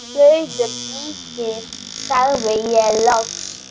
Gaukur líkir, sagði ég loks.